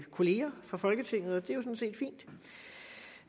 kollegaer fra folketinget og det